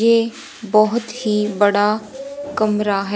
ये बहुत ही बड़ा कमरा है।